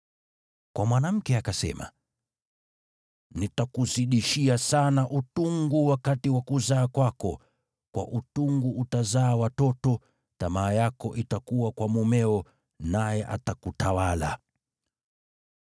Kwa mwanamke akasema, “Nitakuzidishia sana utungu wakati wa kuzaa kwako; kwa utungu utazaa watoto. Tamaa yako itakuwa kwa mumeo naye atakutawala.”